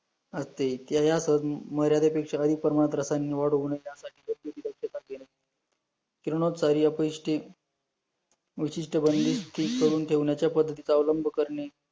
विशिष्ट बंदिस्त करून ठेवण्याच्या पद्धतीचा अवलंब करणे